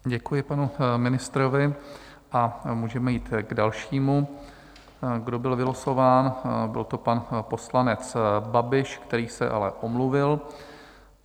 Děkuji panu ministrovi a můžeme jít k dalšímu, kdo byl vylosován, byl to pan poslanec Babiš, který se ale omluvil.